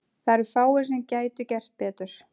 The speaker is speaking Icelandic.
Það eru fáir sem gætu gert betur.